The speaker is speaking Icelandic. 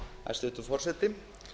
hæstvirtur forseti